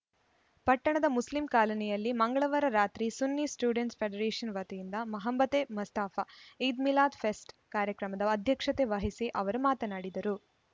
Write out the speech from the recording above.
ಪಟ್ಟಣದ ಮುಸ್ಲಿಂ ಕಾಲೋನಿಯಲ್ಲಿ ಮಂಗಳವಾರ ರಾತ್ರಿ ಸುನ್ನಿ ಸ್ಟೂಡೆಂಟ್‌ ಫೆಡರೇಷನ್‌ ವತಿಯಿಂದ ಮೊಹಬ್ಬತೇ ಮುಸ್ತಫ ಈದ್‌ ಮಿಲಾದ್‌ ಫೆಸ್ಟ್‌ ಕಾರ್ಯಕ್ರಮದ ಅಧ್ಯಕ್ಷತೆ ವಹಿಸಿ ಅವರು ಮಾತನಾಡಿದರು